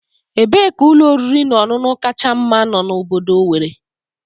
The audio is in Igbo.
Ebee ka ụlọ oriri na ọṅụṅụ kacha mma no na obodo Owere?